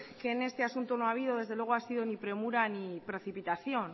que en este asunto no ha habido desde luego ha sido ni premura ni precipitación